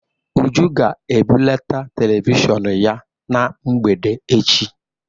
Uju ga-ebuleta televishọn ya na mgbede echi.